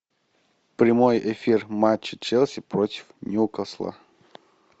прямой эфир матча челси против ньюкасла